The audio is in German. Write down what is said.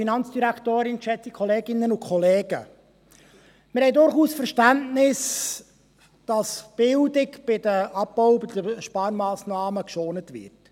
Wir haben durchaus Verständnis, dass die Bildung bei den Abbau- und Sparmassnahmen geschont wird.